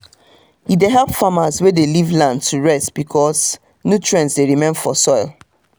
e dey help farmers wey dey leave land to rest becasue nutrient dey remain for soil.